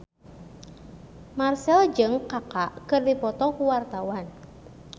Marchell jeung Kaka keur dipoto ku wartawan